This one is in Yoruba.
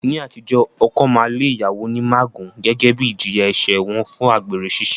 Ní àtijọ́, ọkọ máa lé ìyàwó ní mágùn gẹ́gẹ́ bí ìjìyà ẹ̀ṣẹ̀ wọn fún àgbèrè ṣiṣẹ́